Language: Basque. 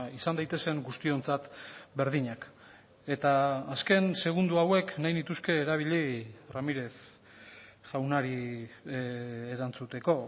izan daitezen guztiontzat berdinak eta azken segundo hauek nahi nituzke erabili ramírez jaunari erantzuteko